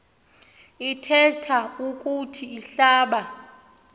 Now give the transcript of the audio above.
ithethe ukuthi ihlaba